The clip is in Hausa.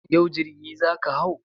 Yau jirgi za ka hau?